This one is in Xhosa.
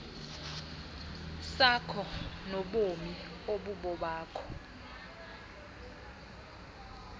sakho nobomi obubobakho